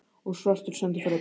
Og svartur sendiferðabíll!